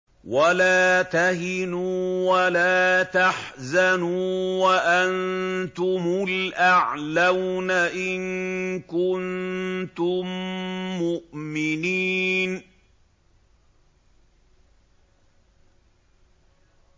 وَلَا تَهِنُوا وَلَا تَحْزَنُوا وَأَنتُمُ الْأَعْلَوْنَ إِن كُنتُم مُّؤْمِنِينَ